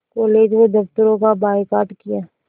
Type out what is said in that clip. college व दफ़्तरों का बायकॉट किया